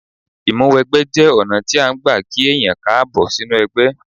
Ìmúwẹgbẹ́ jẹ́ ọ̀nà tí án gbà kí èèyàn Káàbọ̀ sínú ẹgbẹ́